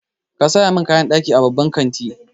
Ka saya min kayan ɗaki a babban kanti.